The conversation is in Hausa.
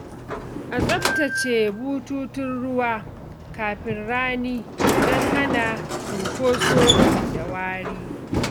A tsaftace bututun ruwa kafin rani don hana cunkoso da wari.